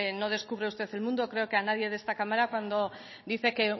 no descubre usted el mundo creo que a nadie de esta cámara cuando dice que